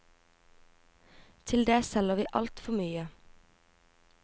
Til det selger vi alt for mye.